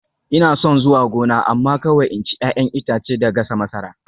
Ina son zuwa gona amma kawai in ci 'ya'yan itace da gasa masara